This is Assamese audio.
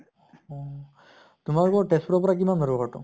অহ । তোমালোকৰ তেজ্পুৰৰ পৰা কিমান বাৰু ঘৰটো